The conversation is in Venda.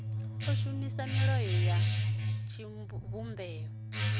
o shumisa milayo ya tshivhumbeo